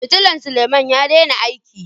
fitilla Suleman ya daina aiki.